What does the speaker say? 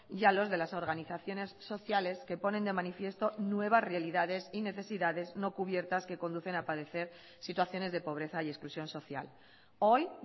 y a los de las organizaciones sociales que ponen de manifiesto nuevas realidades y necesidades no cubiertas que conducen a padecer situaciones de pobreza y exclusión social hoy